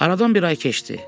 Aradan bir ay keçdi.